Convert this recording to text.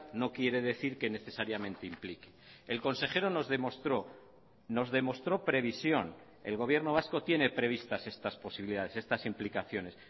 no quiere decir que necesariamente implique el consejero nos demostró nos demostró previsión el gobierno vasco tiene previstas estas posibilidades estas implicaciones